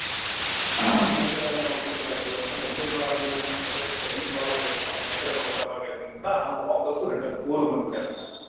ಹ ಹ ಮನೆಕಡೆ ಎಲ್ಲ ನೋಡಕೋಬೇಕಾಯ್ತು ನಾನ್ ಒಬ್ಬನೇ ಮಗ ಆಗಿರೋದರಿಂದ ನಮ್ಮ್ ತಂದೆಗ ಸ್ವಲ್ಪ health problem ಆಗಿರೋದರಿಂದ ನಮ್ಮ್ ಮನೆಕಡೆ ನೋಡಕೋಬೇಕಾದರಿಂದ ನಾನು ವಾಪಸ್ return ಊರಿಗೆ ಬಂದ್ಬಿಟ್ಟೆ ನಾನು.